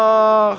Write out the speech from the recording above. Ax!